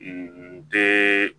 den